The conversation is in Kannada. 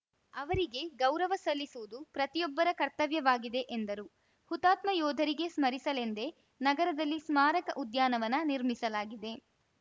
ಅವರಿಗೆ ಗೌರವ ಸಲ್ಲಿಸುವುದು ಪ್ರತಿಯೊಬ್ಬರ ಕರ್ತವ್ಯವಾಗಿದೆ ಎಂದರು ಹುತಾತ್ಮ ಯೋಧರಿಗೆ ಸ್ಮರಿಸಲೆಂದೇ ನಗರದಲ್ಲಿ ಸ್ಮಾರಕ ಉದ್ಯಾನವನ ನಿರ್ಮಿಸಲಾಗಿದೆ